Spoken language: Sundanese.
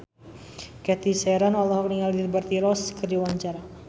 Cathy Sharon olohok ningali Liberty Ross keur diwawancara